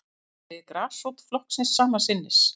Hann segir grasrót flokksins sama sinnis